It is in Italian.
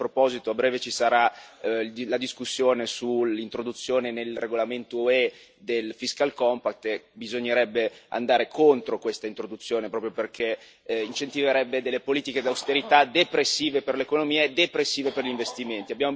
A proposito, a breve ci sarà la discussione sull'introduzione, nel regolamento UE, del Fiscal Compact e bisognerebbe andare contro questa introduzione, proprio perché incentiverebbe delle politiche d'austerità depressive per l'economia e depressive per gli investimenti.